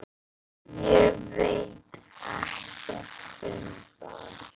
Ég veit ekkert um það.